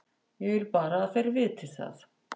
Ég vil bara að þeir viti það.